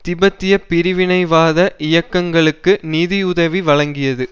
தீபெத்திய பிரிவினைவாத இயக்கங்களுக்கு நிதியுதவி வழங்கியது